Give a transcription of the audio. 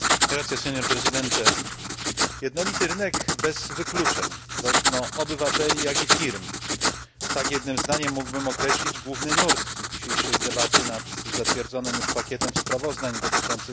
Jednolity rynek bez wykluczeń, zarówno obywateli, jak i firm tak jednym zdaniem mógłbym określić główny nurt dzisiejszej debaty nad zatwierdzonym już pakietem sprawozdań dotyczących Single Market Act.